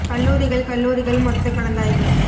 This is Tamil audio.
கல்லூரிகள் கல்லூரிகள் மொத்த கலந்தாய்வு